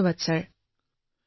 ধন্যবাদ মহোদয়